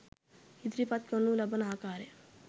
ඉදිරිපත් කරනු ලබන ආකාරය